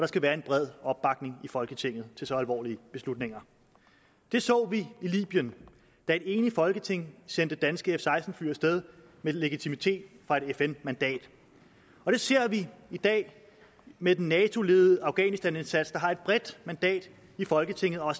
skal være en bred opbakning i folketinget til så alvorlige beslutninger det så vi i libyen da et enigt folketing sendte danske f seksten fly af sted med legitimitet fra et fn mandat og det ser vi i dag med den nato ledede afghanistanindsats der har et bredt mandat i folketinget og